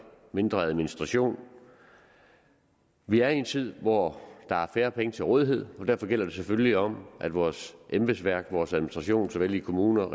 mindre administration vi er i en tid hvor der er færre penge til rådighed og derfor gælder det selvfølgelig om at vores embedsværk vores administration såvel i kommuner